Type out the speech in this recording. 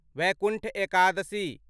Vaikuntha Ekadashi